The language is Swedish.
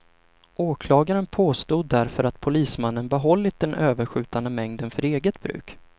Åklagaren påstod därför att polismannen behållit den överskjutande mängden för eget bruk.